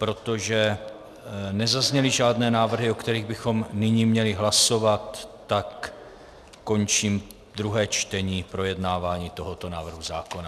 Protože nezazněly žádné návrhy, o kterých bychom nyní měli hlasovat, tak končím druhé čtení, projednávání tohoto návrhu zákona.